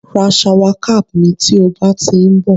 ra shower cap mi ti o ba ti nbo